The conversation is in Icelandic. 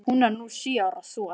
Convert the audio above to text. Hún á nú sjö ára son.